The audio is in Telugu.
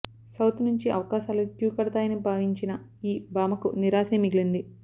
సౌత్ నుంచి అవకాశాలు క్యూ కడతాయని భావించిన ఈ భామకు నిరాశే మిగిలింది